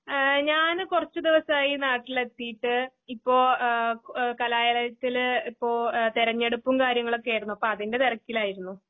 അഹ് ഞാന് കുറച്ച്ദിവസായി നാട്ടിലെത്തീട്ട്. ഇപ്പോ ഏഹ് കലാലയത്തില് ഇപ്പോ ഏഹ് തെരഞ്ഞെടുപ്പുംകാര്യങ്ങളൊക്കെയാരുന്നു അപ്പൊഅതിൻ്റെ തിരക്കിലായിരുന്നു.